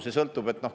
See sõltub.